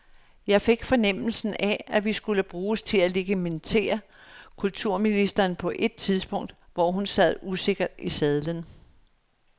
Jeg fik fornemmelsen af, at vi skulle bruges til at legitimere kulturministeren på et tidspunkt, hvor hun sad usikkert i sadlen.